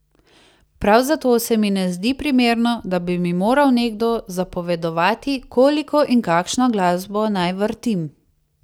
Prav zato se mi ne zdi primerno, da bi mi moral nekdo zapovedovati, koliko in kakšno glasbo naj vrtim.